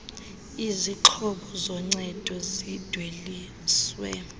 izixhobo zoncedo zidweliswa